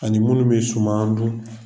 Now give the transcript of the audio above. Ani minnu bɛ suman an b'o dun.